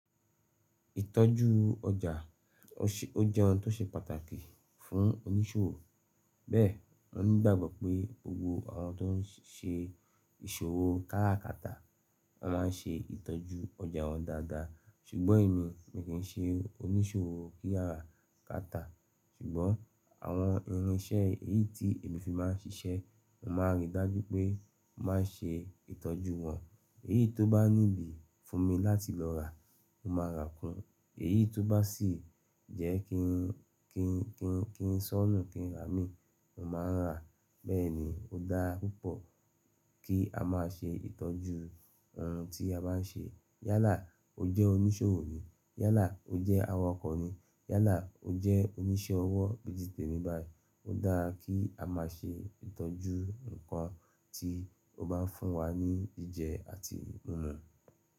Ìtọ́jú ọjà ó jẹ́ ohun tó ṣe pàtàkì fún oníṣòwò. Bẹ́ẹ̀ mo nígbàgbọ́ pé gbogbo àwọn tó ń ṣe ìṣòwò káràkátà, wọ́n máa ń ṣe ìtọ́jú ọjà wọn dáadáa. Ṣùgbọ́n èmi mi kì í ṣe oníṣòwò kí a rà kátà, ṣùgbọ́n àwọn irinṣẹ́ èyí tí èmi fi máa ń ṣiṣẹ́, mo máa rí i dájú pé mo máa ṣe ìtọ́jú wọn. Èyí tó bá ní ibi fún mi láti lọ rà, mo máa rà á kún. Èyí tó bá sì jẹ́ kí n sọọ́ nù kí n rà á mì, mo máa rà á. Bẹ́ẹ̀ ni ó dára púpọ̀ kí a máa ṣe ìtọ́jú ohun tí a bá ń ṣe. Yálà o jẹ́ oníṣòwò ni, yálà o jẹ́ awakọ̀ ni, yálà o jẹ́ oníṣẹ́ ọwọ́ gẹ́gẹ́ bí èmi báyìí, ó dáa kí a máa ṣe ìtọ́jú nǹkan tí ó bá ń fún wa ní jíjẹ àti mímu.